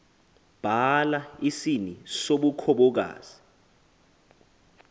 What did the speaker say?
bhala isini sobukhomokazi